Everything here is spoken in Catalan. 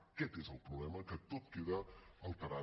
aquest és el problema que tot queda alterat